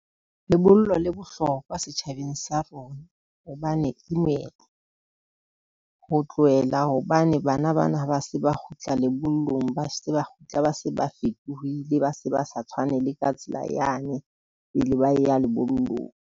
Lebollo le bohlokwa setjhabeng sa rona hobane ke moetlo, ho tlohela hobane bana bana ha ba se ba kgutla lebollong, ba se ba kgutla, ba se ba fetohile, ba se ba sa tshwane. Le ka tsela yane pele ba ya lebollong.